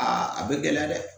Aa a bɛ gɛlɛya dɛ